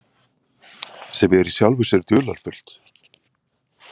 Sem er í sjálfu sér dularfullt.